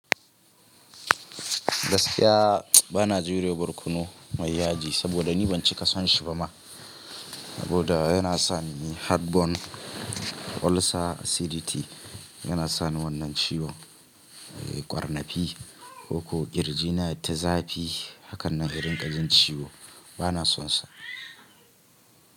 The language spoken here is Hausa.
Gaskiya bana jure wa barkono mai yaji saboda ni ban cika son shi ba ma. Saboda yana sani heartburn, ulcer, acidity yana sani wannan ciwo, eh ƙwarnafi, ko ƙirjina, yayi ta tazafi. Haka nan inrinƙa jin ciwo bana sonsa.